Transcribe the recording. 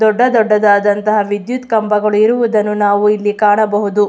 ದೊಡ್ಡ ದೊಡ್ಡದಾದ ವಿದ್ಯುತ್ ಕಂಬಗಳು ಇರುವುದನ್ನು ನಾವು ಇಲ್ಲಿ ಕಾಣಬಹುದು.